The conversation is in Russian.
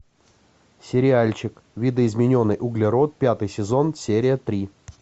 сериальчик видоизмененный углерод пятый сезон серия три